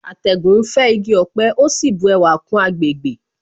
Atẹ́gùn ń fẹ́ igi ọ̀pẹ ó sì bu ẹwà kún àgbègbè